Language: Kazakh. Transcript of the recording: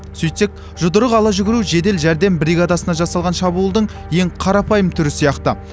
сөйтсек жұдырық ала жүгіру жедел жәрдем бригадасына жасалған шабуылдың ең қарапайым түрі сияқты